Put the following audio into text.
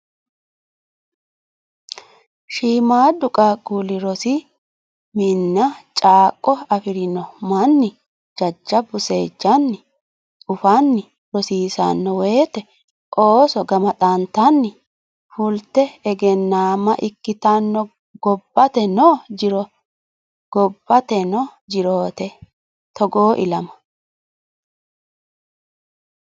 Shiimadu qaqquli rosi mine caakko afirino manni jajjabbu seejjanni ufanni rosiisano woyte ooso gamaxattanni fulte egennama ikkittano gobbateno jirote togoo ilama.